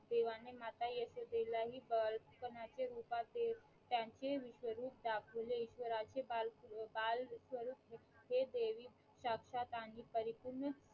देवाने माता यशोदेला हि बालपणीचे रूपात देव त्यांचे विश्व रूप दाखवले ईश्वराचे बाल बालस्वरूप हे देवी साक्षात आणि परिपूर्ण